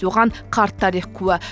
оған қарт тарих куә